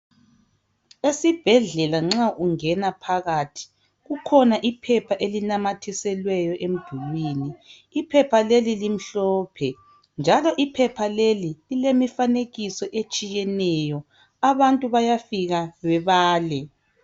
esibhedlela nxa ungena phakathi kukhona iphepha elinamathiselweyo emdulwini iphepha leli limhlophe njalo iphepha leli lilemifanekiso etshiyeneyo abantu bayafika bebale